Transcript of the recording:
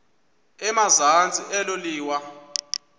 emazantsi elo liwa